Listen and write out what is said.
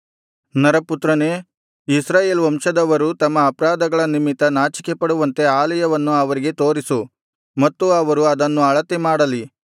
ನರಪುತ್ರನೇ ಇಸ್ರಾಯೇಲ್ ವಂಶದವರು ತಮ್ಮ ಅಪರಾಧಗಳ ನಿಮಿತ್ತ ನಾಚಿಕೆಪಡುವಂತೆ ಆಲಯವನ್ನು ಅವರಿಗೆ ತೋರಿಸು ಮತ್ತು ಅವರು ಅದನ್ನು ಅಳತೆ ಮಾಡಲಿ